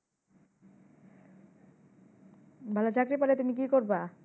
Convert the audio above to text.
ভালো চাকরি পেলে তুমি কি করবা?